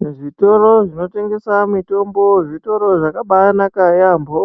Muzvitoro zvinotengesa mitombo zvitoro zvakabanaka yambo